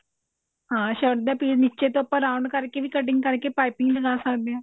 ਹਾਂ shirt ਦਾ piece ਨੀਚੇ ਤੋਂ ਆਪਾਂ round ਕਰਕੇ ਵੀ cutting ਕਰਕੇ ਵੀ ਪਾਈਪਿੰਨ ਲਗਾ ਸਕਦੇ ਹਾਂ